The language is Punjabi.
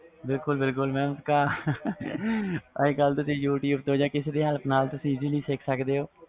ਬਿਲਕੁਲ ਬਿਲਕੁਲ mam ਅੱਜ ਕਲ ਤੁਸੀ ਕਿਸੇ ਦੀ help ਨਾਲ ਜਾ ਤੋਂ ਅਹਸਾਨੀ ਨਾਲ youtube ਤੋਂ ਸਿਖ ਸਕਦੇ ਹੋ